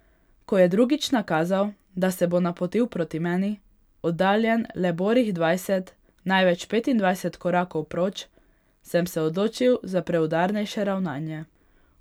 Ko je drugič nakazal, da se bo napotil proti meni, oddaljen le borih dvajset, največ petindvajset korakov proč, sem se odločil za preudarnejše ravnanje.